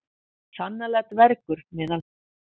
Sannarlega dvergur meðal hunda.